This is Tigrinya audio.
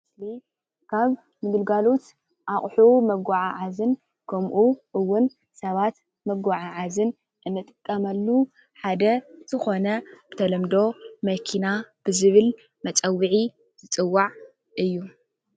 እዚ ምስሊ ካብ ግልጋሎት ኣቑሑ መጓዓዓዝን ከምኡ እዉን ሰባት መጓዓዓዝን እንጥቀመሉ ሓደ ዝኾነ ብተለምዶ መኪና ብዝብል መፀዉዒ ዝፅዋዕ እዩ፡፡